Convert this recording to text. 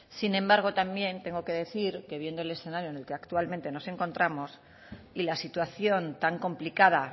sin embargo también tengo que decir que viendo el escenario en el que actualmente nos encontramos y la situación tan complicada